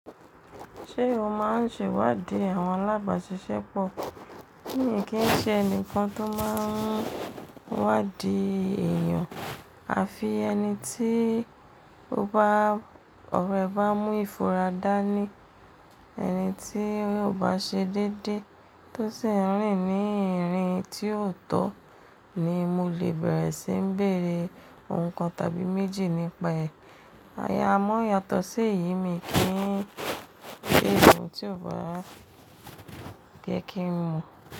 Ṣé o máa ń ṣèwádìí àwọn alábàáṣiṣẹ́ pọ̀? Mi kì í ṣe ẹnìkan tó máa ń wádìí èèyàn. À fi ẹni tí ọ̀rẹ́ bá mú ìfúnra dá ní. Ẹni tí yóò bá ṣe déédéé tó sì ń rìn ní irin tí ò tọ́ ni mo lè bẹ̀rẹ̀ sí ń bèrè ǹkan tàbí méjì nípa ẹ̀. Ayámọ́ yàtọ̀ sí èyí mi kì í ṣe ẹnì tí ò bá gẹ́ kí ń mọ̀